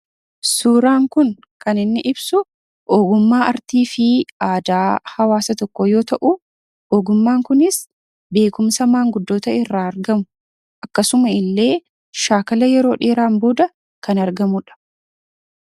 suuraan kun kan inni ibsu oogummaa artii fi aadaa hawaasa tokko yoo ta'u oogummaan kunis beekumsa maanguddoota irraa argamu akkasuma illee shaakala yeroo dheeraan booda kan argamuudha.